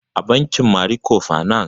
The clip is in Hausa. E, a bankin Mariko fanas